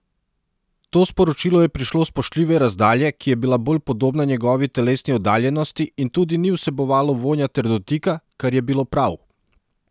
To sporočilo je prišlo s spoštljive razdalje, ki je bila bolj podobna njegovi telesni oddaljenosti, in tudi ni vsebovalo vonja ter dotika, kar je bilo prav.